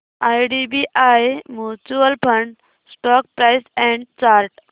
IDBI mutual fund stock price and chart